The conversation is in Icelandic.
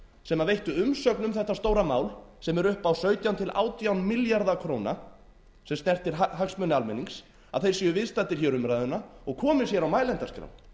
sem veittu umsögn um þetta stóra mál sem er upp á sautján átján milljarða króna sem snertir hagsmuni almennings að þeir séu viðstaddir hér umræðuna og komi sér á mælendaskrá